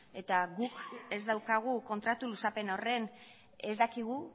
eta guk ez daukagu kontratu luzapen horren ez dakigu